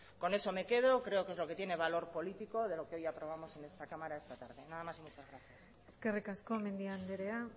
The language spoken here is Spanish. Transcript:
con eso me quedo creo que es lo que tiene valor político de lo que hoy aprobamos en esta cámara esta tarde nada más muchas gracias eskerrik asko mendia anderea